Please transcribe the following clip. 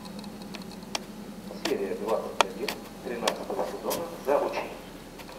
серия двадцать один тринадцатого сезона заучи